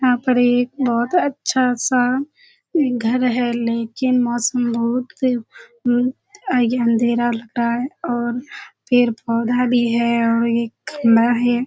यहाँ पर एक बहुत अच्‍छा सा घर है लेकिन मौसम बहुत उम उम अंधेरा लग रहा है और पेड़-पौधा भी है और एक खम्‍बा है।